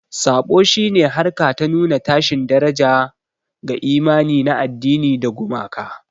Saɓo shi ne harka ta nuna tashin daraja ga imani na addini da gumaka.